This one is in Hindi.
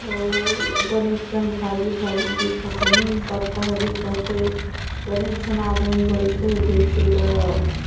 अउ बनेच्कान भाजी भाजी दिखत हे नीम पत्ता हा दिखत है बने छन आदमिन बेठे ह बेचे बर ।